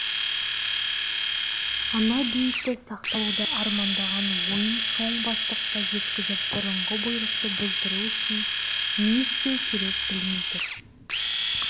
ана бейітті сақтап қалуды армандаған ойын шоң бастыққа жеткізіп бұрынғы бұйрықты бұздыру үшін не істеу керек білмей тұр